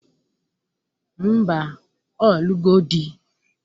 Ḿbà, Ọ lugo di